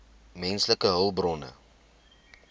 menslike hulpbronne